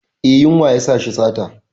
Eh, yunwa yasa shi sata.